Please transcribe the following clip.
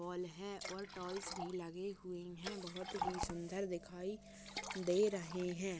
Toll है और tolls भी लगे हुए है बहोत ही सुंदर दिखाई दे रहे है।